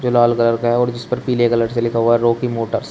जो लाल कलर का है और जिस पर पीले कलर से लिखा हुआ है रॉकी मोटर्स ।